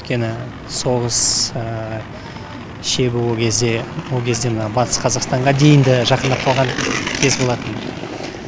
өйткені соғыс шебі ол кезде ол кезде мына батыс қазақстанға дейін де жақындап қалған кез болатын